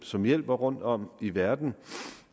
som hjælper rundtom i verden